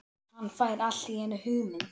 Hann fær allt í einu hugmynd.